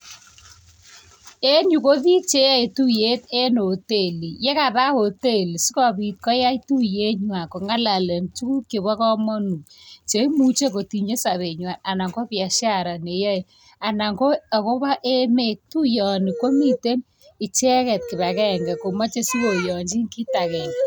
En yu ko piik che yae tuyet en hoteli. Kapa hoteli si kopit koyai tuyet nyuan kong'alalen tuguk cheba kamanut. Tuguk che imuche kotinye sabenywan ana ko biashara neyai. Tuiyoni komiten ichegen kibagenge komache si koyanchin kiit agenge .